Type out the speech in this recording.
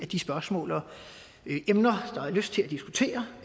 de spørgsmål og emner man har lyst til at diskutere